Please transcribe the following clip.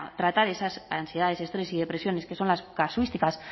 tratar esas ansiedades y estrés y depresiones que son las casuísticas